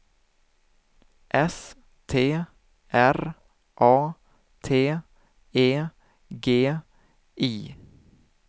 S T R A T E G I